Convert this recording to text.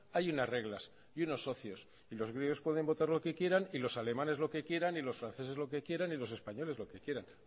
hay unas reglas y unos socios y los griegos pueden votar lo que quieran y los alemanes lo que quieran y los franceses lo que quieran y los españoles lo que quieran